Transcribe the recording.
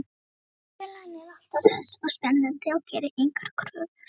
Vinnufélaginn er alltaf hress og spennandi og gerir engar kröfur.